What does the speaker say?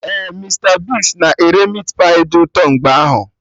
Ee, Mista Bigz na ere Meatpai dị ụtọ mgbe ahụ